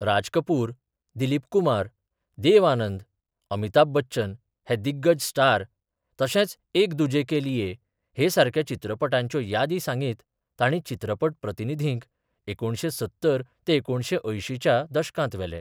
राज कुपर, दिलीप कुमार, देव आनंद, अमिताभ बच्चन हे दिग्गज स्टार तशेच एक दुजे के लिए हे सारख्या चित्रपटांच्यो यादी सांगीत तांणी चित्रपट प्रतिनिधींक एकुणशे सत्तर ते एकुणशे अंयशींच्या दशकांत वेले.